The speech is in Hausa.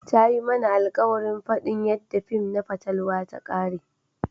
Ta yi mana alkawarin fadin yadda fin na fatalwa ta kare.